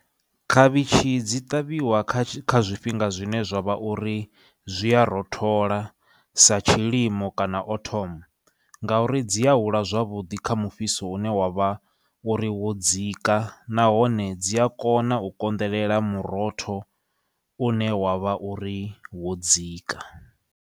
Khavhitshi dzi ṱavhiwa kha kha zwifhinga zwine zwa vha uri zwi a rothola sa tshilimo kana autumn ngauri, dzi a hula zwavhuḓi kha mufhiso une wa vha uri wo dzika, nahone dzi a kona u konḓelela murotho une wa vha uri wo dzika.